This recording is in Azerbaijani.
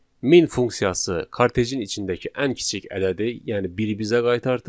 Min funksiyası kartejin içindəki ən kiçik ədədi, yəni biri bizə qaytardı.